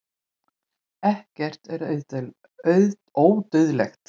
ekkert er ódauðlegt